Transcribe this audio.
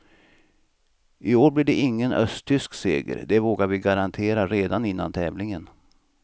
I år blir det ingen östtysk seger, det vågar vi garantera redan innan tävlingen.